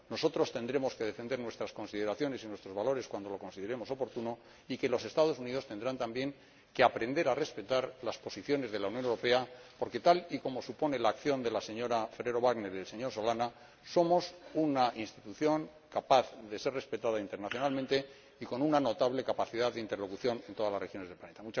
nosotros tendremos que defender nuestras consideraciones y nuestros valores cuando lo consideremos oportuno y los Estados Unidos tendrán también que aprender a respetar las posiciones de la Unión Europea, porque, tal como supone la acción de la señora Ferrero Waldner y del señor Solana, somos una institución capaz de ser respetada internacionalmente y con una notable capacidad de interlocución en todas las regiones del planeta.